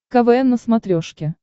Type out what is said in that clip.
квн на смотрешке